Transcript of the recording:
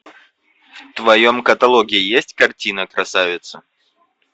в твоем каталоге есть картина красавица